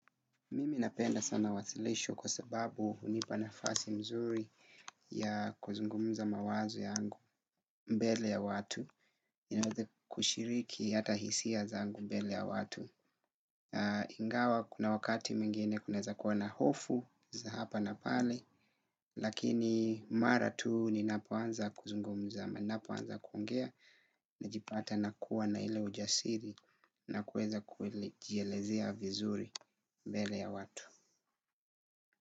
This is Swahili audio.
Mimi napenda sana wasilisho kwa sababu hunipanafasi mzuri ya kuzungumuza mawazo yangu mbele ya watu. Inoze kushiriki hata hisia zangu mbele ya watu. Ingawa kuna wakati mingine kuneza kuwa na hofu za hapa na pale. Lakini mara tuu ni napoanza kuzungumuza. Napoanza kuongea na jipata na kuwa na ile ujasiri na kuweza kuilejelezia vizuri mbele ya watu.